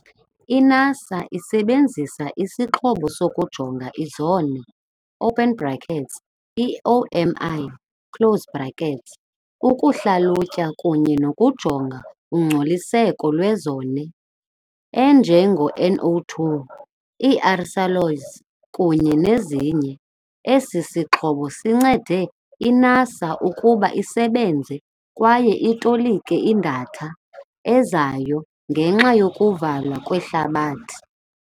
I-NASA isebenzisa isixhobo sokujonga i-ozone, open brackets i-OMI close brackets, ukuhlalutya kunye nokujonga ungcoliseko lwe-ozone enje nge-NO2, ii-aerosols kunye nezinye. Esi sixhobo sincede i-NASA ukuba isebenze kwaye itolike idatha ezayo ngenxa yokuvalwa kwehlabathi.